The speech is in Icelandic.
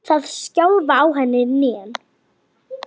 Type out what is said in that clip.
Það skjálfa á henni hnén.